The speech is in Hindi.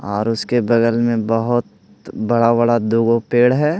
और उसके बगल में बहुत बड़ा-बड़ा दोग पेड़ है।